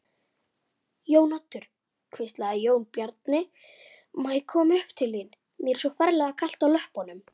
Jón Örn: Ertu í afmæli?